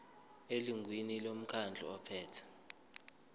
elungwini lomkhandlu ophethe